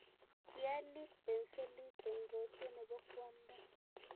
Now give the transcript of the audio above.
kialit penselit eng rotwee nebo kwanda